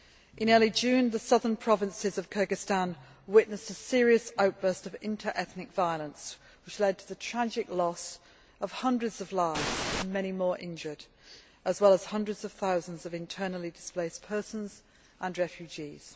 In early June, the southern provinces of Kyrgyzstan witnessed a serious outburst of interethnic violence, which led to the tragic loss of hundreds of lives and many more injured, as well as hundreds of thousands of internally displaced persons and refugees.